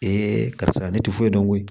karisa ne ti foyi dɔn koyi